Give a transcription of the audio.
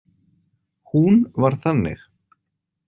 Hún var þannig.